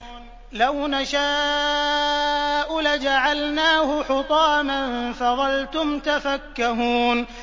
لَوْ نَشَاءُ لَجَعَلْنَاهُ حُطَامًا فَظَلْتُمْ تَفَكَّهُونَ